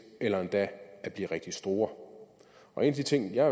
eller endda at blive rigtig store og en af de ting jeg